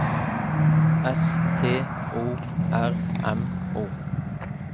S T O R M O